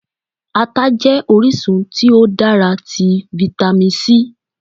Ata jẹ́ orísun tí ó dára tí Vitamin C.